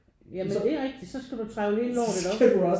Ja men det er rigtigt så skal du trevle hele lortet op